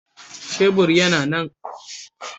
Shebur yana nan